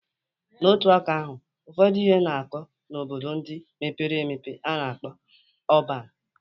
Na otu aka ahụ, ụfọdụ ihe na-akọ n'obodo ndị mepere emepe a na-akpọ ọban.